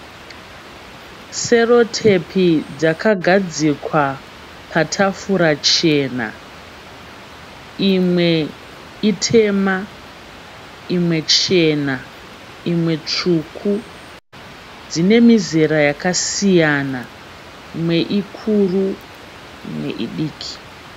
Serotepi dzakagadzikwa patafura chena. Imwe itema, imwe chena imwe tsvuku. Dzine mizera yakasiyana imwe ikuru imwe idiki.